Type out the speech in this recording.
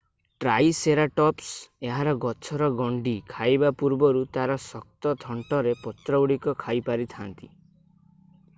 triceratops ଏହାର ଗଛର ଗଣ୍ଡି ଖାଇବା ପୂର୍ବରୁ ତା'ର ଶକ୍ତ ଥଣ୍ଟରେ ପତ୍ରଗୁଡିକ ଖାଇପାରିଥାନ୍ତା